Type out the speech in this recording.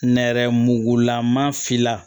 Nɛrɛmugugulama finna